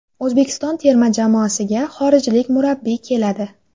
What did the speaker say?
O‘zbekiston terma jamoasiga xorijlik murabbiy keladi.